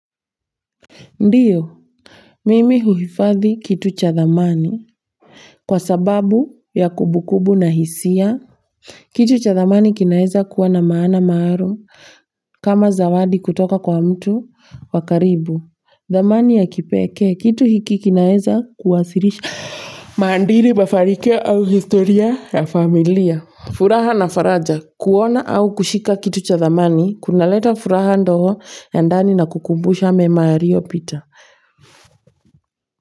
Ndio, mimi huhifadhi kitu cha dhamani kwa sababu ya kumbu kumbu na hisia. Kitu cha dhamani kinaeza kuwa na maana maalum kama zawadi kutoka kwa mtu wa karibu. Dhamani ya kipekee, kitu hiki kinaeza kuwasilisha maadili mafanikio au historia ya familia. Furaha na faraja, kuona au kushika kitu cha dhamani, kuna leta furaha ndogo ya ndani na kukumbusha mema yaliyo pita.